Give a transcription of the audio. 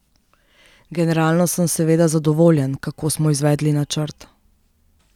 Generalno sem seveda zadovoljen, kako smo izvedli načrt.